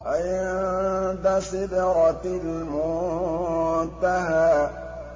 عِندَ سِدْرَةِ الْمُنتَهَىٰ